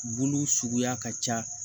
Bulu suguya ka ca